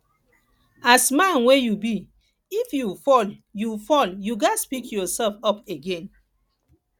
as man wey you be if you fall you fall you ghas pick yourself up again